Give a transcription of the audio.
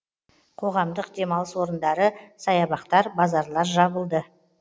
қоғамдық демалыс орындары саябақтар базарлар жабылды